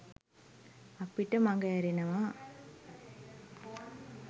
අපිට මග ඇරෙනවා